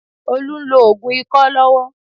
Olú ń lo òògùn ikọ́ lọ́wọ́.